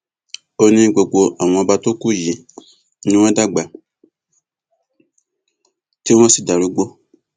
ó ní gbogbo àwọn ọba tó kù yìí ni wọn dàgbà tí wọn darúgbó